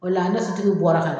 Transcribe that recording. O la ne tigiw bɔra kan